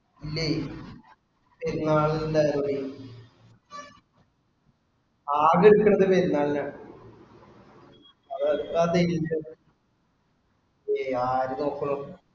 ഉം പെരുന്നാളിന്റെ ആകെ എടുക്കണത് പെരുന്നാളിനാണ്. അതെത്ര pages വന്നേ? ഏയ് ആര് നോക്കുണു.